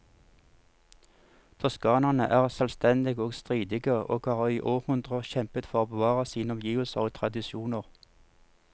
Toskanerne er selvstendige og stridige, og har i århundrer kjempet for å bevare sine omgivelser og tradisjoner.